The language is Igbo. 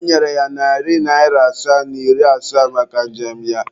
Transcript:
Ọ nyere ya narị naịra asaa na iri asaa maka njem ya.